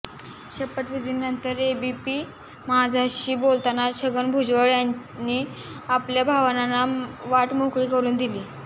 शपथविधीनंतर एबीपी माझाशी बोलताना छगन भुजबळ यांनी आपल्या भावनांना वाट मोकळी करुन दिली